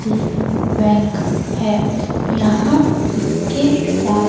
सी bank है यहां इसके साथ--